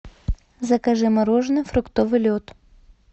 закажи мороженое фруктовый лед